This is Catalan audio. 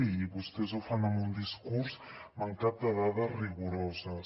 i vostès ho fan amb un discurs mancat de dades rigoroses